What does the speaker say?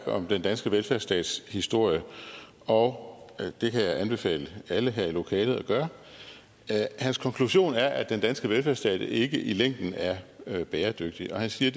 om den danske velfærdstats historie og det kan jeg anbefale alle her i lokalet at gøre hans konklusion er at den danske velfærdsstat ikke i længden er er bæredygtig og han siger